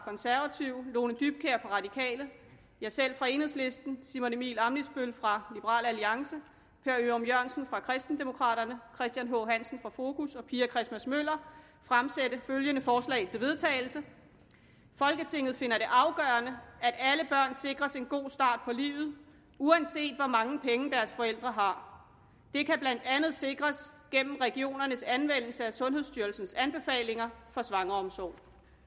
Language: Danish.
konservative lone dybkjær fra de radikale jeg selv fra enhedslisten simon emil ammitzbøll fra liberal alliance per ørum jørgensen fra kristendemokraterne christian h hansen fra fokus og pia christmas møller fremsætte følgende forslag til vedtagelse folketinget finder det afgørende at alle børn sikres en god start på livet uanset hvor mange penge deres forældre har det kan blandt andet sikres gennem regionernes anvendelse af sundhedsstyrelsens anbefalinger for svangreomsorg